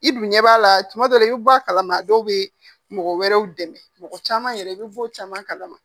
I dun ɲɛ b'a la tuma dɔw la i bɛ bɔ a kalama dɔw bɛ mɔgɔ wɛrɛw dɛmɛ mɔgɔ caman yɛrɛ i bɛ bɔ caman kalama